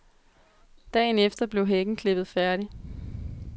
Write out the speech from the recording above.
Dagen efter blev hækken klippet færdig.